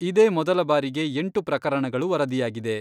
ಇದೇ ಮೊದಲ ಬಾರಿಗೆ ಎಂಟು ಪ್ರಕರಣಗಳು ವರದಿಯಾಗಿದೆ.